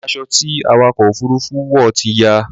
Aṣọ ti awakọ̀ òfurufú wọ̀ ti ya